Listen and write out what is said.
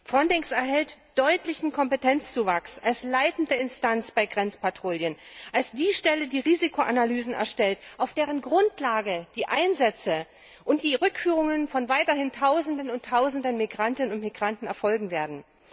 FRONTEX erhält einen deutlichen Kompetenzzuwachs als leitende Instanz bei Grenzpatrouillen, als die Stelle, die Risikoanalysen erstellt, auf deren Grundlage die Einsätze und die Rückführungen von weiterhin Tausenden und Tausenden Migrantinnen und Migranten erfolgen werden.